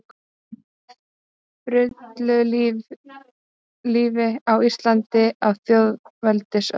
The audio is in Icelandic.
Frillulífi á Íslandi á þjóðveldisöld.